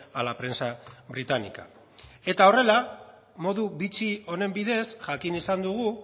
a la prensa británica eta horrela modu bitxi honen bidez jakin izan dugu